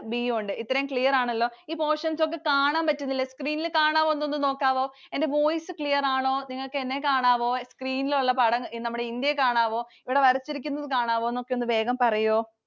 B യും ഉണ്ട്. ഇത്രയും clear ആണല്ലോ? ഈ portions ഒക്കെ കാണാൻ പറ്റുന്നില്ലേ? screen ൽ കാണാവോ ഒന്ന് നോക്കാവോ? എന്റെ voice clear ആണോ? നിങ്ങൾക്ക് എന്നെ കാണാവോ? screen ഉള്ള പടം നമ്മുടെ ഇന്ത്യയെ കാണാവോ? ഇവിടെ വരച്ചിരിക്കുന്നത് കാണാവോ, നമുക്ക് ഒന്ന് വേഗം പറയൊ.